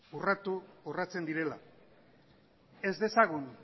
urratu urratzen direla ez dezagun